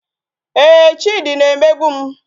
Ee, Chidi na-emegbu m